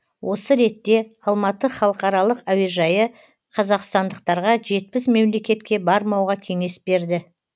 осы ретте алматы халықаралық әуежайы қазақстандықтарға жетпіс мемлекетке бармауға кеңес берді